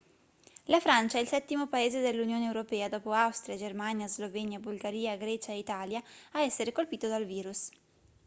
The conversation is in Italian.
la francia è il settimo paese dell'unione europea dopo austria germania slovenia bulgaria grecia e italia a essere colpito dal virus